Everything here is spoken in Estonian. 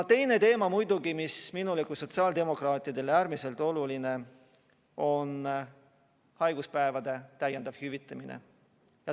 Teine teema, mis on minule kui sotsiaaldemokraadile äärmiselt oluline, on haiguspäevade täiendav hüvitamine.